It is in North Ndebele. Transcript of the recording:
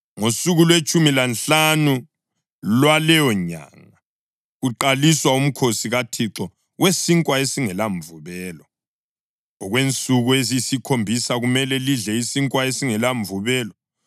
Ngosuku lwetshumi lanhlanu lwaleyonyanga kuqaliswa uMkhosi kaThixo weSinkwa esingelaMvubelo; okwensuku eziyisikhombisa kumele lidle isinkwa esingelamvubelo.